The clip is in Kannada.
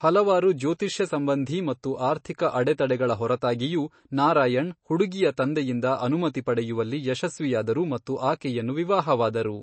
ಹಲವಾರು ಜ್ಯೋತಿಷ್ಯ ಸಂಬಂಧೀ ಮತ್ತು ಆರ್ಥಿಕ ಅಡೆತಡೆಗಳ ಹೊರತಾಗಿಯೂ, ನಾರಾಯಣ್ ಹುಡುಗಿಯ ತಂದೆಯಿಂದ ಅನುಮತಿ ಪಡೆಯುವಲ್ಲಿ ಯಶಸ್ವಿಯಾದರು ಮತ್ತು ಆಕೆಯನ್ನು ವಿವಾಹವಾದರು.